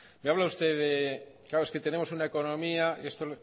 me habla usted claro es que tenemos una economía esto